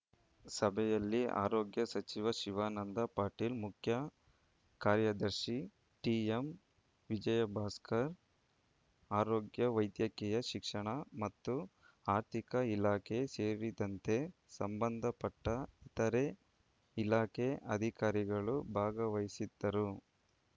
ಸಭೆಯಲ್ಲಿ ಆರೋಗ್ಯ ಸಚಿವ ಶಿವಾನಂದ ಪಾಟೀಲ್‌ ಮುಖ್ಯ ಕಾರ್ಯದರ್ಶಿ ಟಿಎಂ ವಿಜಯಭಾಸ್ಕರ್‌ ಆರೋಗ್ಯ ವೈದ್ಯಕೀಯ ಶಿಕ್ಷಣ ಮತ್ತು ಆರ್ಥಿಕ ಇಲಾಖೆ ಸೇರಿದಂತೆ ಸಂಬಂಧಪಟ್ಟಇತರೆ ಇಲಾಖೆ ಅಧಿಕಾರಿಗಳು ಭಾಗವಹಿಸಿದ್ದರು